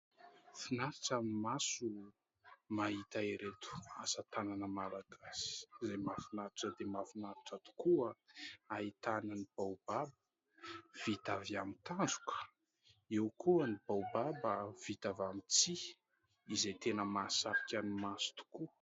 Finaritra ny maso mahita ireto asatanana malagasy izay mahafinaritra dia mahafinaritra tokoa, ahitana ny baobab vita avy amin'ny tandroka, eo koa ny baobab vita avy amin'ny tsihy izay tena mahasarika ny maso tokoa.